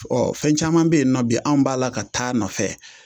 fɛn caman bɛ yen nɔ bi an b'a la ka taa a nɔfɛ